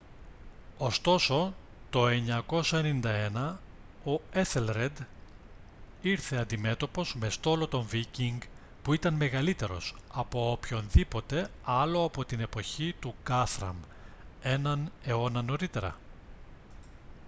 ωστόσο το 991 ο έθελρεντ ήρθε αντιμέτωπος με στόλο των βίκινγκ που ήταν μεγαλύτερος από οποιονδήποτε άλλο από την εποχή του γκάθραμ έναν αιώνα νωρίτερα